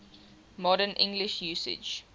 modern english usage